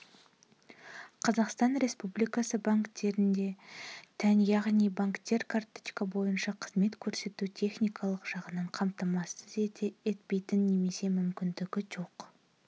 қазақстан республикасы банктеріне тән яғни банктер карточка бойынша қызмет көрсетуге техникалық жағынан қамтамасыз етпейтін немесе мүмкіндігі жоқ